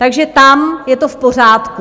Takže tam je to v pořádku.